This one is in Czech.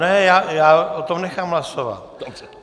Ne, já o tom nechám hlasovat.